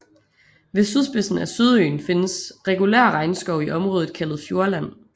Ved sydspidsen af Sydøen findes regulær regnskov i området kaldet Fjordland